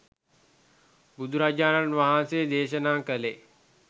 බුදුරජාණන් වහන්සේ දේශනා කළේ